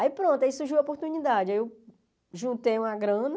Aí pronto, aí surgiu a oportunidade, aí eu juntei uma grana,